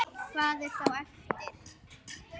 Hvað er þá eftir?